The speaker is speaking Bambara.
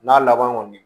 N'a laban kɔni